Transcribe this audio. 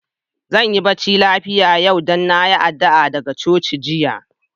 Zan yi barci lafia yau, dan na yi addu'a daga coci jiya.